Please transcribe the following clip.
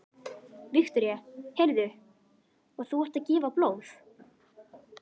Viktoría: Heyrðu, og þú ert að gefa blóð?